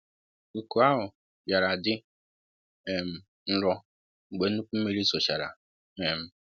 Uku ahụ bịara dị um ńrõ mgbe nnukwu mmiri zochara um